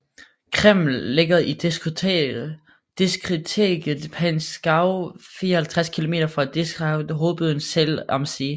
Krimml ligger i disktriktet Pinzgau 54 km fra distriktshovedbyen Zell am See